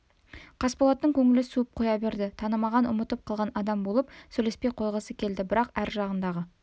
қасболаттың көңілі суып қоя берді танымаған ұмытып қалған адам болып сөйлеспей қойғысы келді бірақ ар жағындағы